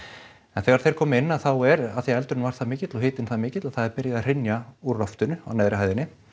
en þegar þeir koma inn þá er af því að eldurinn var það mikill og hitinn það mikill að það er byrjað að hrynja úr loftinu á neðri hæðinni